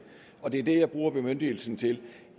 og det er det jeg bruger bemyndigelsen til